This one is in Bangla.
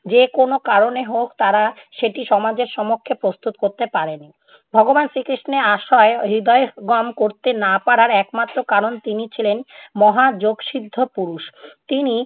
যেকোনো কারণে হোক, তারা সেটি সমাজের সমক্ষে প্রস্তুত করতে পারেনি। ভগবান শ্রীকৃষ্ণের আশ্রয় হৃদয়ঙ্গম করতে না পারার একমাত্র কারণ তিনি ছিলেন মহা যোগসিদ্ধ পুরুষ। তিনি